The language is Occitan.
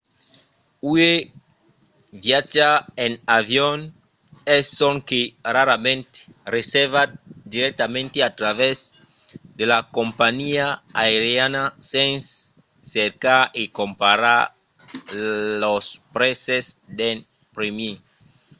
uèi viatjar en avion es sonque rarament reservat dirèctament a travèrs de la companhiá aeriana sens cercar e comparar los prèses d'en primièr